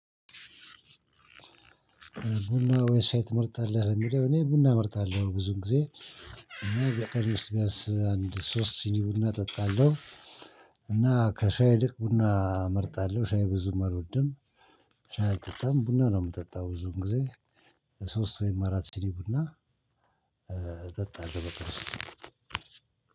ቡና ወይስ ሻይ ትመርጣለህ? እኔ ቡና እመርጣለሁ ብዙ ጊዜ እና በቀን ውስጥ ቢያንስ አንድ ሶስት ሲኒ ቡና እጠጣለሁ። እና ከሻይ ይልቅ ቡና እመርጣለሁ ሻይ ብዙ አልወድም። ሻይ አልጠጣም ቡና ነው የምጠጣው። ብዙን ጊዜ ሶስት ወይም አራት ሲኒ ቡና እጠጣለው። በቀን ውስጥ